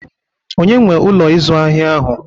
Onye nwee Ụlọ ịzụ ahịa ahụ?